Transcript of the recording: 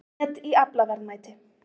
Met í aflaverðmæti